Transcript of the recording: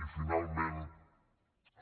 i finalment